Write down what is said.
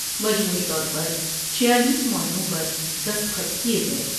مجموعی طور پرچھیالیس معاہدوں پر دستخط کیے گئے ۔